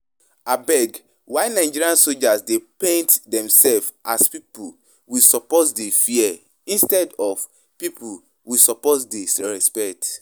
Abeg why Nigerian soldiers dey paint themselves as people we suppose dey fear instead of people we suppose dey respect